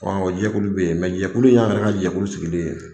Ɔ o jɛkulu bɛ yen, jɛkulu in ye anw yɛrɛ ka jɛkulu sigilen ye.